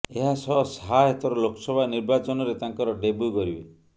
ଏହାସହ ଶାହା ଏଥର ଲୋକସଭା ନିର୍ବାଚନରେ ତାଙ୍କର ଡେବ୍ୟୁ କରିବେ